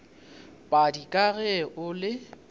padi ka ge o le